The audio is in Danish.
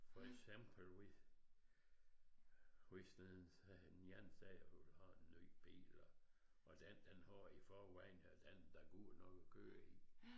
For eksempel hvis hvis den sagde den anden sagde hun vil have en ny bil og den man har i forvejen den er da god nok at køre i